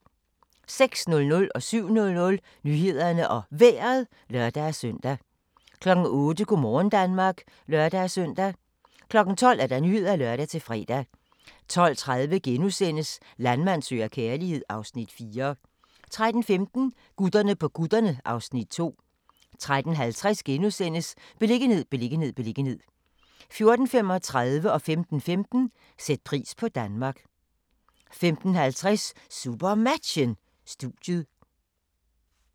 06:00: Nyhederne og Vejret (lør-søn) 07:00: Nyhederne og Vejret (lør-søn) 08:00: Go' morgen Danmark (lør-søn) 12:00: Nyhederne (lør-fre) 12:30: Landmand søger kærlighed (Afs. 4)* 13:15: Gutterne på kutterne (Afs. 2) 13:50: Beliggenhed, beliggenhed, beliggenhed * 14:35: Sæt pris på Danmark 15:15: Sæt pris på Danmark 15:50: SuperMatchen: Studiet